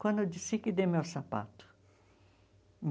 Quando eu disse que dei meu sapato.